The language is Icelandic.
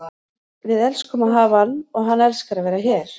Við elskum að hafa hann og hann elskar að vera hér.